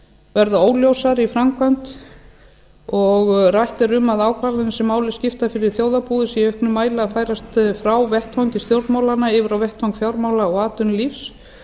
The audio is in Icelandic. verða óljósara í framkvæmd og rætt er um að ákvarðanir sem máli skipta fyrir þjóðarbúið séu í auknum mæli að færast frá vettvangi stjórnmálanna yfir á vettvang fjármála og atvinnulífs